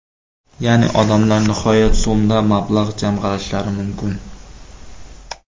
Ya’ni odamlar nihoyat so‘mda mablag‘ jamg‘arishlari mumkin.